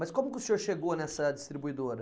Mas como que o senhor chegou nessa distribuidora?